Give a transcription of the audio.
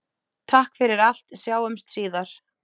Takk fyrir allt, sjáumst síðar.